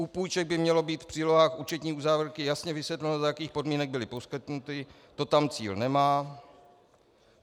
U půjček by mělo být v přílohách účetní uzávěrky jasně vysvětleno, za jakých podmínek byly poskytnuty, to tam Cíl nemá.